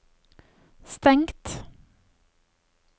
stengt